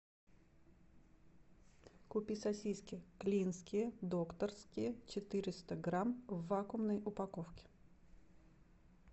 купи сосиски клинские докторские четыреста грамм в вакуумной упаковке